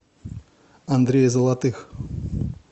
андрея золотых